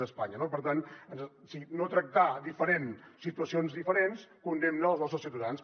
d’espanya no per tant no tractar diferent situacions diferents condemna els nostres ciutadans